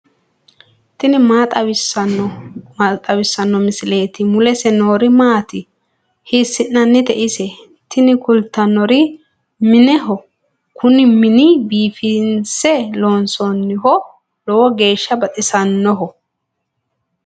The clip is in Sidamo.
tini maa xawissanno misileeti ? mulese noori maati ? hiissinannite ise ? tini kultannori mineho. kuni mini biifinse loonsoonniho lowo geeshsha baxisanno.